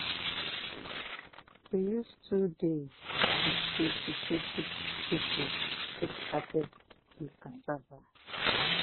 we use two days with twenty twenty people take harvest di cassava.